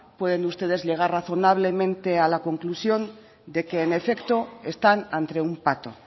pueden ustedes llegar razonablemente a la conclusión de que en efecto están ante un pato